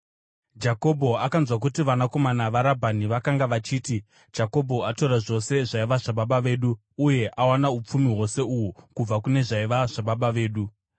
Jakobho akanzwa kuti vanakomana vaRabhani vakanga vachiti, “Jakobho atora zvose zvaiva zvababa vedu uye awana upfumi hwose uhu kubva kune zvaiva zvababa vedu.”